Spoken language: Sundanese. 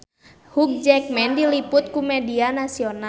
Hugh Jackman diliput ku media nasional